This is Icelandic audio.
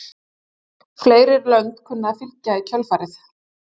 Fleiri lönd kunna að fylgja í kjölfarið.